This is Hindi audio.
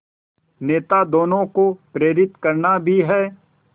नेता दोनों को प्रेरित करना भी है